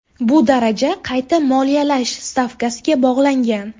Bu daraja qayta moliyalash stavkasiga bog‘langan.